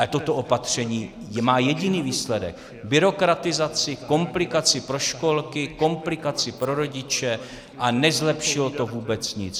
Ale toto opatření má jediný výsledek: byrokratizaci, komplikaci pro školky, komplikaci pro rodiče, a nezlepšilo to vůbec nic.